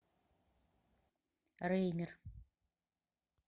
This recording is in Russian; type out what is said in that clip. реймер